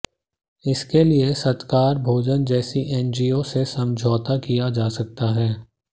इसके लिए सत्कार भोजन जैसी एनजीओ से समझौता किया जा सकता है